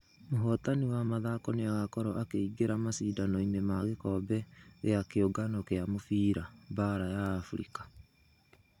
Mũhotani wa mĩthako nĩagokorwo akeingera mashidano-inĩ ma gĩkobe gĩa kĩũngano gia mũfira baara ya africa.